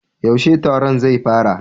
Yaushe taron zai fara?